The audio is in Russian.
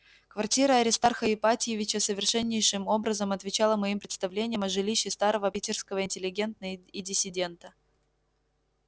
квартира аристарха ипатьевича совершеннейшим образом отвечала моим представлениям о жилище старого питерского интеллигента и диссидента